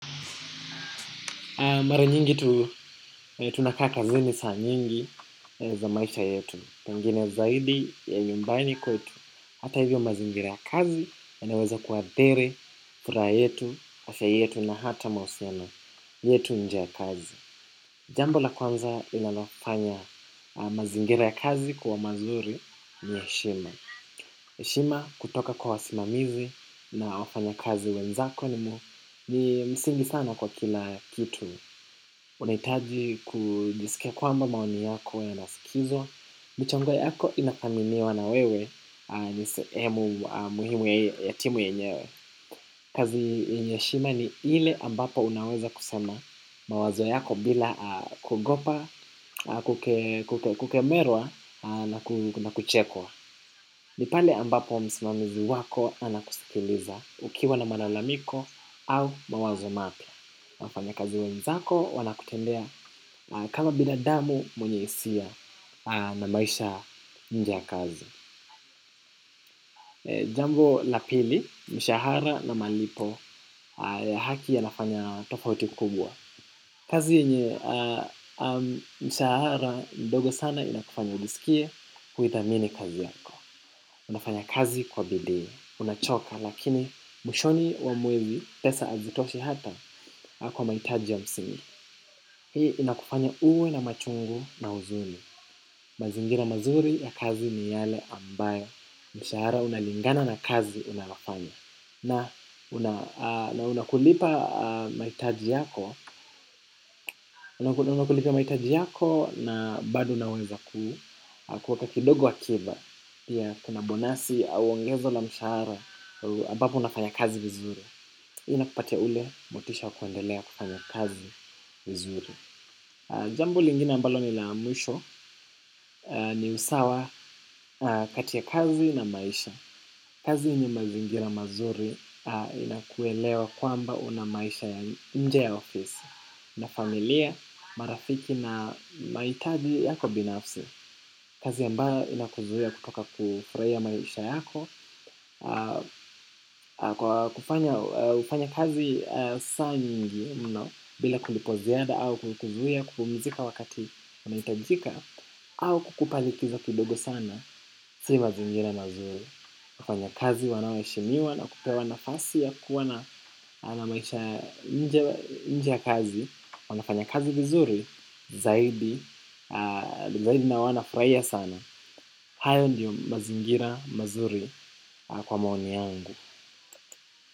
Mara nyingi tunakaa kazini saa nyingi za maisha yetu. Tangine zaidi ya nyumbani kwetu hata hivyo mazingira ya kazi yanaweza kuadhiri furaa yetu, afya yetu na hata mausiano yetu nje ya kazi. Jambo la kwanza linalofanya mazingira ya kazi kuwa mazuri ni eshima. Eshima kutoka kwa wasimamizi na wafanya kazi wenzako ni msingi sana kwa kila kitu. Unaitaji kujisikia kwamba maoni yako yanasikizwa, mchango yako inathaminiwa na wewe niseemu muhimu ya timu yenyewe. Kazi yenye eshima ni ile ambapo unaweza kusema mawazo yako bila kugopa, kukemerwa na kuchekwa. Nipale ambapo msimamizi wako anakusikiliza ukiwa na malalamiko au mawazo mapya wafanyakazi wenzako wana kutendea kama binadamu mwenye isia na maisha nje ya kazi. Jambo lapili, mshahara na malipo ya haki yanafanya tofauti kubwa. Kazi yenye mshahara ndogo sana inakufanya ujisikie kuithamini kazi yako. Unafanya kazi kwa bidii, unachoka lakini mwishoni wa mwezi pesa azitoshi hata kwa maitaji ya msingi. Hii inakufanya uwe na machungu na uzuni. Mazingira mazuri ya kazi ni yale ambaye mshara unalingana na kazi unarafanya. Na unakulipa maitaji yako unakulipa maitaji yako na bado unaweza kueka kidogo akiba. Pia kuna bonasi au ongezo la mshara ambapo unafanya kazi vizuri. Hii inakupate ule motisha wa kwendelea kufanya kazi vizuri. Jambo lingine ambalo ni la mwisho ni usawa kati ya kazi na maisha. Kazi yenye mazingira mazuri inakuelewa kwamba una maisha ya nje ya ofisi. Na familia, marafiki na maitaji yako binafsi. Kazi ambayo inakuzuia kutoka kufraia maisha yako. Kufanya kazi saa nyingi mno bila kulipo ziada au kuzuia kupumizika wakati unaitajika au kukupa likizo kidogo sana, si mazingira na mazuri. Wafanyakazi wanaoeshemiwa na kupewa nafasi ya kuwa na maisha nje ya kazi, wanafanya kazi vizuri, zaidi, zaidi na wanafraia sana. Hayo ndiyo mazingira mazuri kwa maoni yangu.